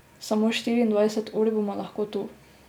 Samo štiriindvajset ur bom lahko tu.